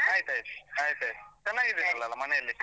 ಆಯ್ತ್ ಆಯ್ತು ಆಯ್ತ್ ಆಯ್ತ್ ಮನೇಲಿ?